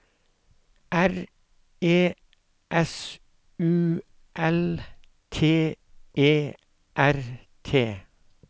R E S U L T E R T